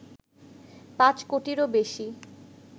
৫ কোটিরও বেশি